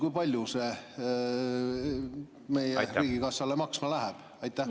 Kui palju see meie riigikassale maksma läheb?